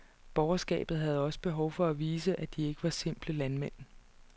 Borgerskabet havde også behov for at vise, at de ikke var simple landmænd.